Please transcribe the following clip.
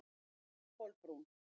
Kolbrún